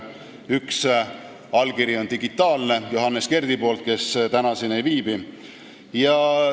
Üks allkiri on digitaalne, see on Johannes Kerdi oma, kes täna siin ei viibi.